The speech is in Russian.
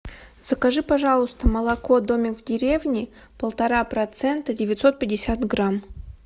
закажи пожалуйста молоко домик в деревне полтора процента девятьсот пятьдесят грамм